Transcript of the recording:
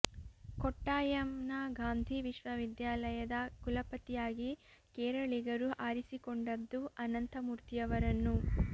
ಕೊಟ್ಟಾಯಂ ನ ಗಾಂಧೀ ವಿಶ್ವವಿದ್ಯಾಲಯದ ಕುಲಪತಿಯಾಗಿ ಕೇರಳಿಗರು ಆರಿಸಿಕೊಂಡದ್ದು ಅನಂತ ಮೂರ್ತಿಯವರನ್ನು